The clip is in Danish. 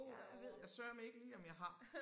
Ja ved jeg sørme ikke lige om jeg har